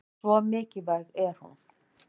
Svo mikilvæg er hún.